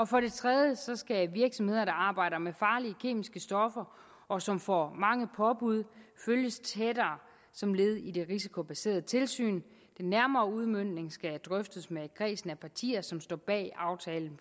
for det tredje skal virksomheder der arbejder med farlige kemiske stoffer og som får mange påbud følges tættere som led i det risikobaserede tilsyn den nærmere udmøntning skal drøftes med kredsen af partier som står bag aftalen